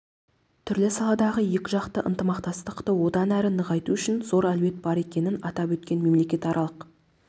түрлі салалардағы екіжақты ынтымақтастықты одан әрі нығайту үшін зор әлеует бар екенін атап өтіп мемлекетаралық